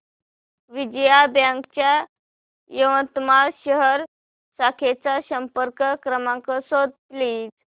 Vijaya bank च्या यवतमाळ शहर शाखेचा संपर्क क्रमांक शोध प्लीज